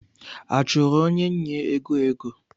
A chụrụ onye nnye ego ego?